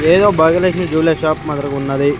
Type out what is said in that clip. ఏదో Bhagyalakshmi jewellery shop మాదిరిగా ఉన్నది.